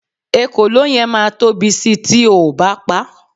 ekòló yen ma Tobi Si ti oo ba pa